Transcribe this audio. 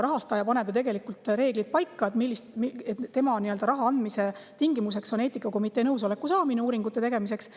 Rahastaja paneb ju paika reegli, et tema raha andmise tingimuseks on eetikakomitee nõusoleku saamine uuringute tegemiseks.